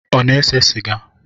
Ọ na-ese sịga?